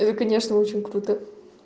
это конечно очень круто